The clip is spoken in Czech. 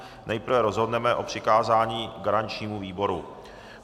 Nejprve rozhodneme o přikázání garančnímu výboru.